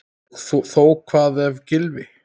Og þó Hvað ef Gylfi.